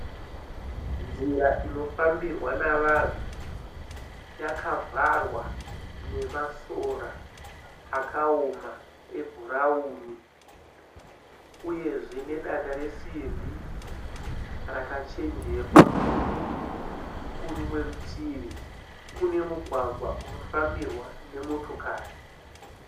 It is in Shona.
Nzira inofambirwa nevanhu yakavharwa nemasora akaoma ebhurauni, uyezve nedanda resimbi rakachinjikwa. kurimwe rutivi kune mugwagwa unofambirwa nemotokari.